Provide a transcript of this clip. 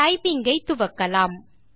typing ஐ துவக்கலாம்